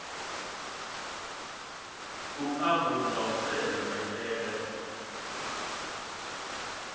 luambo nga u bveledza maitele